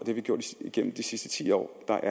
vi gjort igennem de sidste ti år hvor der